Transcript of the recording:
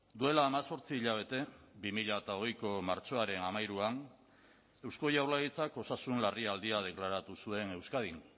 duela hemezortzi hilabete bi mila hogeiko martxoaren hamairuan eusko jaurlaritzak osasun larrialdia deklaratu zuen euskadin